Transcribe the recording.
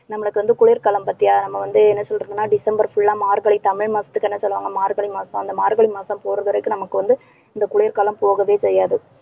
நம்மளுக்கு வந்து குளிர்காலம் பாத்தியா நம்ம வந்து என்ன சொல்றதுன்னா டிசம்பர் full ஆ மார்கழி தமிழ் மாசத்துக்கு என்ன சொல்லுவாங்க? மார்கழி மாசம் அந்த மார்கழி மாசம் போற வரைக்கும் நமக்கு வந்து இந்த குளிர்காலம் போகவே செய்யாது.